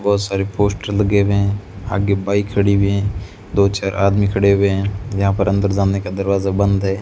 बहुत सारी पोस्टर लगे हैं आगे बाइक खड़ी हुई है दो चार आदमी खड़े हुए हैं यहां पर अंदर जाने का दरवाजा बंद है।